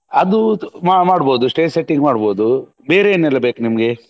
ಅದು ಮಾಡ್ಬೋದು stage setting ಮಾಡ್ಬೋದು ಬೇರೆ ಏನೆಲ್ಲ ಬೇಕು ನಿಮ್ಗೆ.